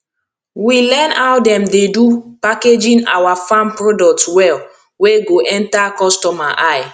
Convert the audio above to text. we learn how dem dey do packaging awa farm product well wey go enter customer eye